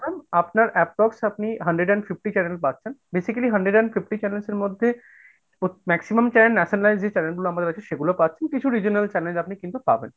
আপনার approx আপনি hundred and fifty channel পাচ্ছেন, basically hundred and fifty channels এর মধ্যে maximum channel nationally যে channel গুলো আমারা রেখেছি সেগুলো পাচ্ছেন, কিছু regional channel আপনি কিন্তু পাবেন।